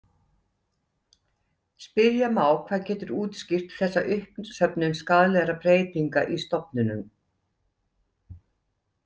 Spyrja má hvað getur útskýrt þessa uppsöfnun skaðlegra breytinga í stofninum.